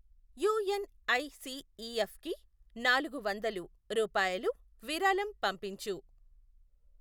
యుఎన్ఐసిఈఎఫ్కి నాలుగు వందలు రూపాయలు విరాళం పంపించు.